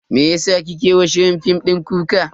Meyasa kike wa shirin fim din kuka?